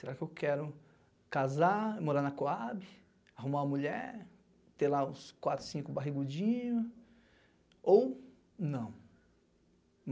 Será que eu quero casar, morar na Cohab, arrumar uma mulher, ter lá uns quatro, cinco barrigudinho, ou não.